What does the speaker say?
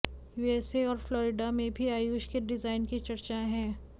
USA और Florida में भी आयुष के डिज़ाइन की चर्चाएं हैं